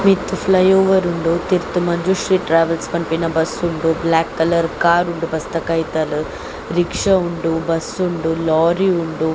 ಮಿತ್ತ್ flyover ಉಂಡು ತಿರ್ತ್ ಮಂಜುಶ್ರೀ ಟ್ರೇವೆಲ್ಸ್ ಪನ್ಪಿನ ಬಸ್ಸ್ ಉಂಡು ಬ್ಲೇಕ್ ಕಲರ್ ಕಾರ್ ಉಂಡು ಬಸ್ಸ್ ದ ಕೈತಲ್ ರಿಕ್ಷ ಉಂಡು ಬಸ್ಸ್ ಉಂಡು ಲೋರಿ ಉಂಡು.